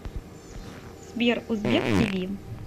сбер узбек ти ви